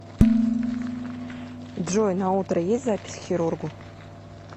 джой на утро есть запись к хирургу